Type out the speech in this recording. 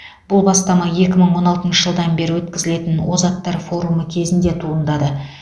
бұл бастама екі мың он алтыншы жылдан бері өткізілетін озаттар форумы кезінде туындады